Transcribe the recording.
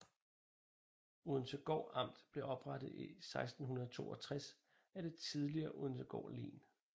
Odensegård Amt blev oprettet i 1662 af det tidligere Odensegård Len